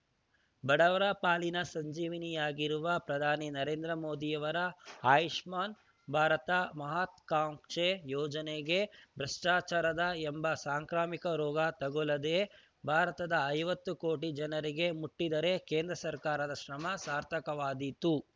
ಬಡವರ ಪಾಲಿನ ಸಂಜೀವಿನಿಯಾಗಿರುವ ಪ್ರಧಾನಿ ನರೇಂದ್ರ ಮೋದಿಯವರ ಆಯುಷ್ಮಾನ್‌ ಭಾರತ ಮಹತ್ವಾಕಾಂಕ್ಷೆ ಯೋಜನೆಗೆ ಭ್ರಷ್ಟಾಚಾರ ಎಂಬ ಸಾಂಕ್ರಾಮಿಕ ರೋಗ ತಗುಲದೇ ಭಾರತದ ಐವತ್ತು ಕೋಟಿ ಜನರಿಗೆ ಮುಟ್ಟಿದರೆ ಕೇಂದ್ರ ಸರ್ಕಾರದ ಶ್ರಮ ಸಾರ್ಥವಾದೀತು